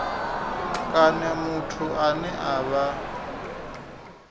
kana muthu ane a vha